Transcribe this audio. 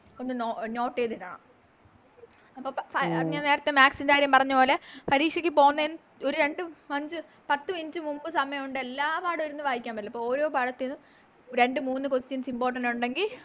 നമുക്കൊന്ന് Note ചെയ്ത Note ചെയ്തിടാം അപ്പൊ ഫാ ഞാൻ നേരത്തെ Maths ൻറെ കാര്യം പറഞ്ഞപോലെ പരീക്ഷക്ക് പോകുന്നെന് ഒര് രണ്ട് അഞ്ച് പത്ത് Minute മുന്നേ സമയവുണ്ട് അപ്പൊ എല്ലാ പടോം ഇരുന്ന് വായിക്കാൻ പറ്റില്ല അപ്പൊ ഓരോ പാഠത്തിന്നും രണ്ട് മൂന്ന് Questions important ഉണ്ടെങ്കിൽ